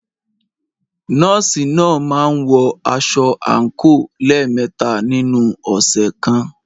Nọ́ọ̀sì náà máa ń wọ aṣọ àǹkóò lẹ́ẹ̀mẹta nínu ọ̀sẹ̀ kan.